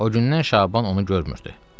O gündən Şaban onu görmürdü.